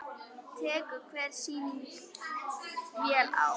Tekur hver sýning vel á?